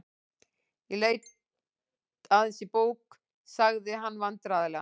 Ég leit aðeins í bók.- sagði hann vandræðalega.